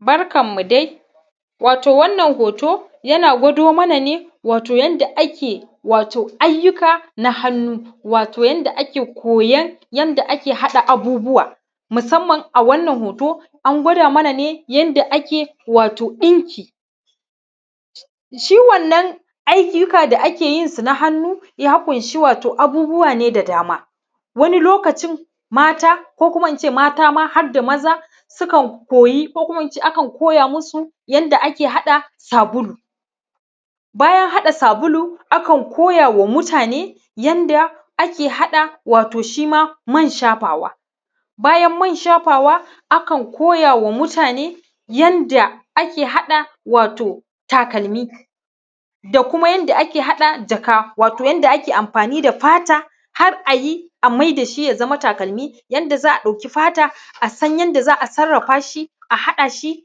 Barkanmu dai, wato wannan hoto yana gwado mana ne wato yanda ake wato ayyuka na hannu, wato yanda ake koyon yanda ake haɗa abubbuwa, musamman a wannan hoto an gwada mana ne yanda ake wato ɗinki. Shi wannan ayyuka da ake yin su na hannu, ya ƙunshi wato abubbuwa ne da dama. Wani lokacin mata, ko kuma mata ma har da maza, sukan koya, ko kuma in ce akan koya musu yanda ake haɗa sabulu. Bayan haɗa sabulu, akan koya wa mutane yanda ake haɗa wato man shafawa. Bayan man shafawa, wato akan koya wa mutane yanda ake haɗa wato takalmi, da kuma yanda ake haɗa jaka. Wato yanda ake amfani da fata, har a yi a maida shi ya zama takalmi. Yanda za a ɗaki fata, a san yanda za a sarrafa shi, a haɗa shi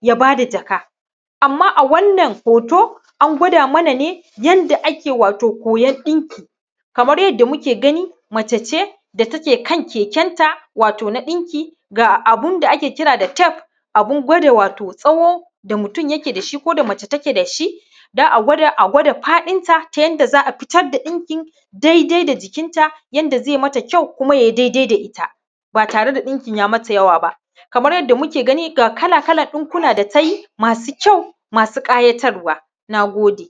ya zama jaka. Amma a wannan hoto an gwada mana ne yanda ake koyon wato ɗinki. Kamar yanda muke gani, mace ce da take kan kekenta wato na ɗinki. Ga abun da ake kira wato tef, abun gwada wato tsawo da mutum take da shi, ko da mace ta je da shi, a gwada a gwada faɗinta, ta yanda za a fitar da ɗinka dai-dai da jikinta, yanda ze mata kyau, ko ya yi dai-dai da ita, ba tare da jikinta ya yi mata yawa ba. Kamar yanda muke gani, ga kala-kalan ɗinkuna da ta yi, masu kyau, masu ƙayatarwa. Na gode.